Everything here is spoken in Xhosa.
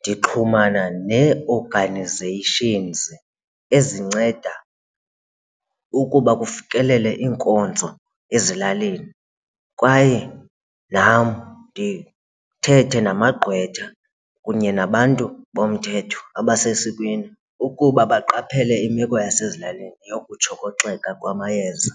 ndixhumana nee-organizations ezinceda ukuba kufikelele iinkonzo ezilalini kwaye nam ndithethe namagqwetha kunye nabantu bomthetho abasesikweni ukuba baqaphele imeko yasezilalini yokutshokoxeka kwamayeza.